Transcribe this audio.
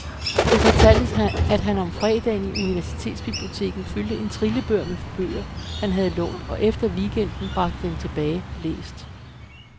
Det fortaltes, at han om fredagen i universitetsbiblioteket fyldte en trillebør med de bøger han havde lånt, og efter weekenden bragte dem tilbage, læst.